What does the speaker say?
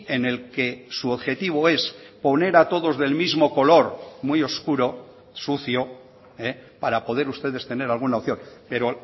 en el que su objetivo es poner a todos del mismo color muy oscuro sucio para poder ustedes tener alguna opción pero